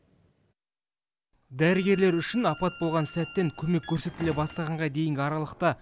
дәрігерлер үшін апат болған сәттен көмек көрсетіле бастағанға дейінгі аралықта